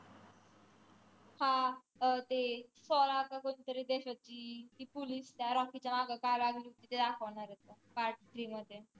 हा अं ते सालार का कोणत्या तरी देशाची ती police त्या रॉकीच्या माग का लागली होती ते दाखवणार आहे part three मध्ये